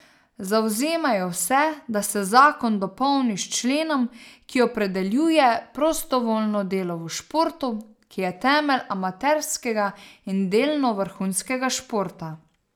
Zavzemajo se, da se zakon dopolni s členom, ki opredeljuje prostovoljno delo v športu, ki je temelj amaterskega in delno vrhunskega športa.